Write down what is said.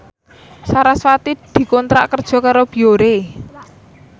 sarasvati dikontrak kerja karo Biore